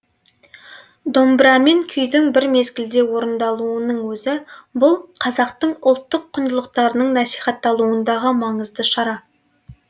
домбырамен күйдің бір мезгілде орындалуының өзі бұл қазақтың ұлттық құндылықтарының насихатталуындағы маңызды шара